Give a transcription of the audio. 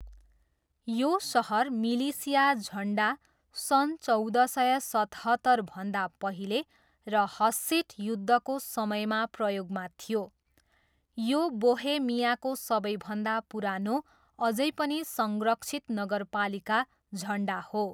यो सहर मिलिसिया झन्डा सन् चौध सय सतहत्तरभन्दा पहिले र हस्सिट युद्धको समयमा प्रयोगमा थियो, यो बोहेमियाको सबैभन्दा पुरानो अझै पनि संरक्षित नगरपालिका झन्डा हो।